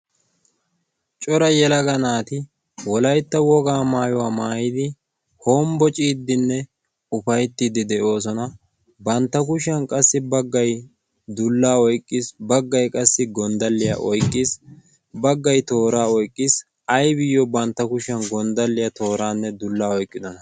cora yelaga naati wolaitta wogaa maayuwaa maayidi hombbo ciiddinne ufayttiiddi deyoosona. bantta kushiyan qassi baggai dullaa oyqqiis. baggai qassi gonddalliyaa oiqqiis baggai tooraa oyqqiis. aybiyyo bantta kushiyan gonddalliyaa tooraanne dullaa oyqqidona?